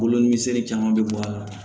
Kolo misɛnnin caman bɛ bɔ a la